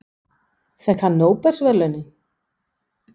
Fékk hann nóbelsverðlaunin?